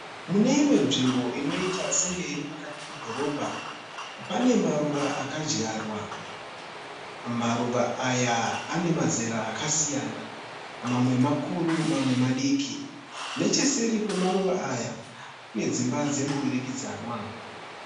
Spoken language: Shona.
Mune imwe nzvimbo inoita senge iri pakati pedhorobha. Pane maruva akadyarwa. Maruva aya ane mazera akasiyana. Mamwe makuru mamwe madiki. Necheseri kwemaruva aya kune dzimba dzemudurikidzwana.